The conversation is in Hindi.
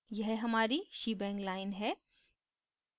यह हमारी shebang line है